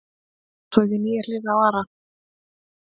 Þá sá ég nýja hlið á Ara.